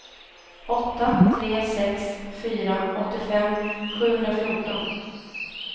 åtta tre sex fyra åttiofem sjuhundrafjorton